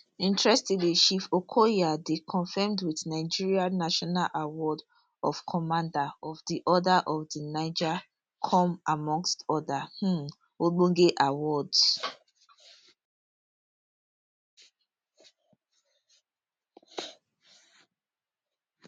interestingly chief okoya dey conferred wit nigeria national award of commander of di order of di niger con amongst oda um ogbonge awards